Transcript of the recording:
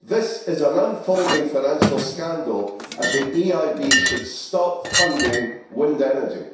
This is an unfolding financial scandal, and the EIB should stop funding wind energy.